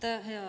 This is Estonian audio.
Aitäh!